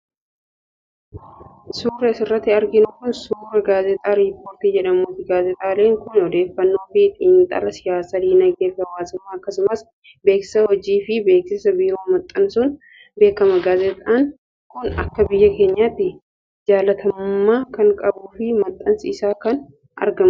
Suurri asirratti arginu kun, suura gaazexaa Rippoortar jedhamuuti. Gaazexaan kun, odeeffannoo fi xiinxala siyaasaa, diinagdee fi hawaasumma, akkasumas beeksisa hojii fi beeksisa biroo maxxansuun beekama. Gaazexaan kun, akka biyya keenyaatti jaalatamummaa kan qabuu fi maxxansi isaa kan eegamuudha.